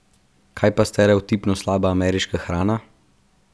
Kaj pa stereotipno slaba ameriška hrana?